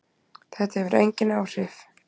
Þetta hefur engin áhrif